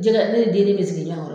Jɛkɛ ne ye denni de sigi ɲɔɔn kɔr